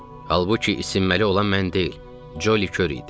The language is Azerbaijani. Halbuki isinməli olan mən deyil, Ccoli kör idi.